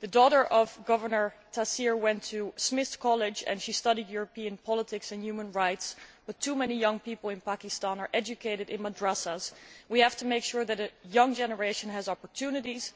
The daughter of Governor Taseer went to Smith College and she studied European politics and human rights, but too many people in Pakistan are educated in madrasahs. We have to make sure that the young generation has opportunities,